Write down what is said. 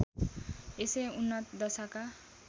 यसै उन्नत दशाका